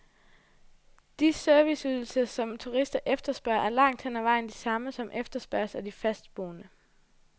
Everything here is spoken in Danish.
De serviceydelser, som turister efterspørger, er langt hen ad vejen de samme, som efterspørges af de fastboende.